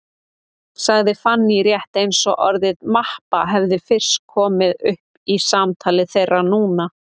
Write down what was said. sagði Fanný, rétt eins og orðið mappa hefði fyrst komið upp í samtali þeirra núna.